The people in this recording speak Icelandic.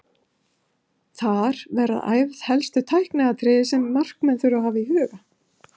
Þar verða æfð helstu tækniatriði sem markmenn þurfa að hafa í huga.